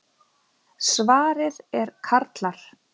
Svarið er karlar.